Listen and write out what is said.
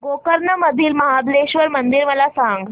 गोकर्ण मधील महाबलेश्वर मंदिर मला सांग